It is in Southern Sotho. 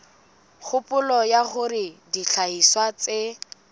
kgopolo ya hore dihlahiswa tse